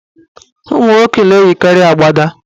Ụmụnwoke na-eyikarị agbada.